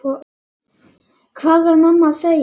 Hvað var mamma að segja?